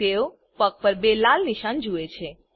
તેઓ પગ પર બે લાલ નિશાન જુએ છે